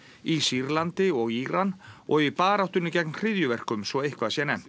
í Sýrlandi og Íran og í baráttunni gegn hryðjuverkum svo eitthvað sé nefnt